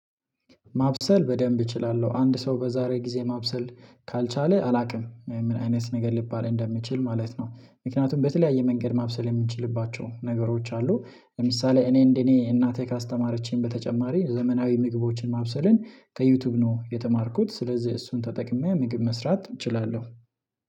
ማብሰል በደንብ እችላለሁ አንድ ሰው በዛሬ ጊዜ ማብሰል ካልቻለ አላውቅም ምን አይነት ነገር ሊባል እንደሚችል ማለት ነው። ምክንያቱም በተለያየ መንገድ ማብሰል የምችልባቸው ነገሮች አሉ። ለምሳሌ እኔ እንደኔ እናቴ ካስተማረችኝ በተጨማሪ ዘመናዊ ምግቦችን ማብሰልን ከዩቲዩብ ነው የተማርኩት ስለዚህ እሱን ተጠቅሜ ምግብ መስራት እችላለሁ